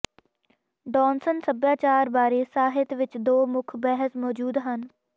ਡੌਨਸਨ ਸਭਿਆਚਾਰ ਬਾਰੇ ਸਾਹਿਤ ਵਿਚ ਦੋ ਮੁੱਖ ਬਹਿਸ ਮੌਜੂਦ ਹਨ